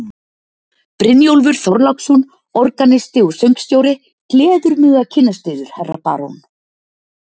Brynjólfur Þorláksson, organisti og söngstjóri, gleður mig að kynnast yður, herra barón.